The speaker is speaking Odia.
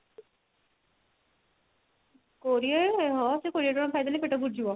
କୋଡିଏ ହଁ ସେଇ କୋଡିଏ ଟଙ୍କାର ଖାଇଦେଲେ ପେଟ ପୁରିଯିବ